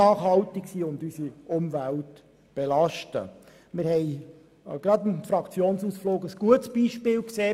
Anlässlich des Fraktionsausflugs haben wir mit dem Rosshäusern-Tunnel ein gutes Beispiel dafür gesehen.